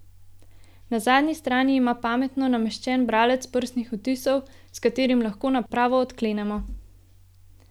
Na zadnji strani ima pametno nameščen bralec prstnih odtisov, s katerim lahko napravo odklenemo.